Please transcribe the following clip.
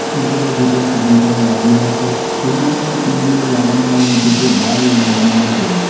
উপরে দুটো ceiling fan লাগানো আছে ছবিটিতে টিউবলাইট লাগানো এবং কিছু বাল্ব লাগানো আছে।